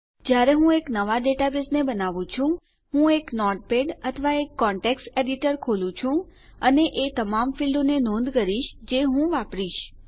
જયારે હું એક નવા ડેટાબેઝને બનાવુ છું હું એક નોટપેડ અથવા એક કોન્ટેકસ્ટ એડિટર ખોલું છું અને એ તમામ ફીલ્ડો ક્ષેત્રોને નોંધ કરું છું જે હું વાપરીશ